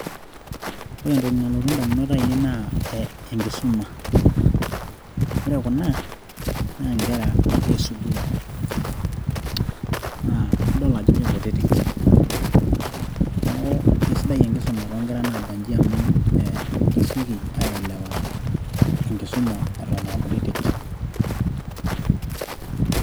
ore entoki nalotu idamunot aainei naa enkisuma, ore Kuna naa nkera e sukuul naa idol ajo kikutiki .neeku keisidai eenkisuma too nkera naabaji amu kibung oleng as kutitik.